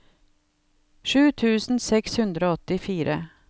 sju tusen seks hundre og åttifire